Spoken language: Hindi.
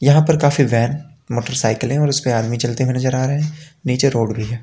यहां पर काफी वैन मोटरसाइकिले है और उसपे आदमी चलते हुए नजर आ रहे है निचे रोड भी है।